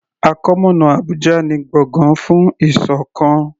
Àkọmọ̀nà Abùjá ni gbọ̀gán fún ìṣọ̀kan.